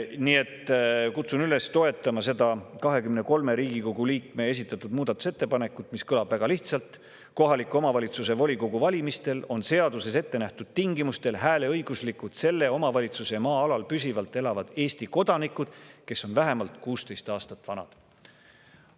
Nii et kutsun üles toetama seda 23 Riigikogu liikme esitatud muudatusettepanekut, mis kõlab väga lihtsalt: "Kohaliku omavalitsuse volikogu valimistel on seaduses ettenähtud tingimustel hääleõiguslikud selle omavalitsuse maa-alal püsivalt elavad Eesti kodanikud, kes on vähemalt kuusteist aastat vanad.